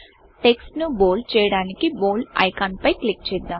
text ను bold చేయడానికి bold icon పై క్లిక్ చేద్దాం